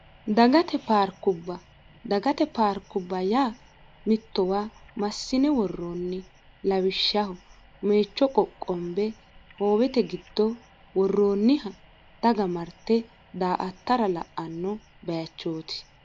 ddagate paarkubba yaa mittowa massine worroonni lawishshaho meecho qoqqombe hoowete giddo worroonniha daga marte daa attara la'anno bayachooti